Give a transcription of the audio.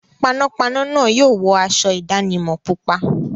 Panápaná náà yóò wọ aṣọ ìdánimọ̀ pupa.